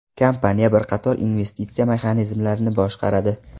Kompaniya bir qator investitsiya mexanizmlarini boshqaradi.